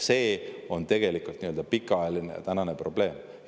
See on tegelikult pikaajaline probleem.